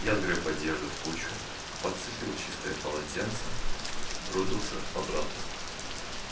я сгрёб одежду в кучу подцепил чистое полотенце бросился обратно